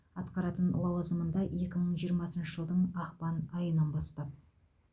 атқаратын лауазымында екі мың жиырмасыншы жылдың ақпан айынан бастап